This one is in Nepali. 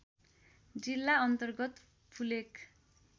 जिल्ला अन्तर्गत फुलेक